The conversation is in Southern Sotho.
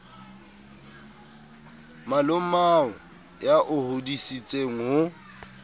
malomao ya o hodisitseng ho